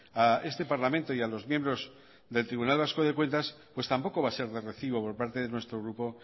a este parlamento y a los miembros del tribunal vasco de cuentas pues tampoco va a ser de recibo por parte de nuestro grupo